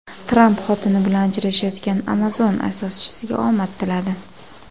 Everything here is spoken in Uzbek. Tramp xotini bilan ajrashayotgan Amazon asoschisiga omad tiladi.